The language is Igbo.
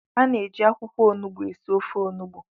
A na-eji akwụkwọ onugbu esi ofe Onugbu